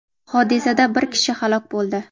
Hodisada bir kishi halok bo‘ldi.